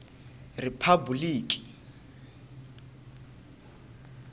riphabuliki